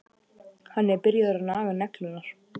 Hann er byrjaður að naga neglurnar.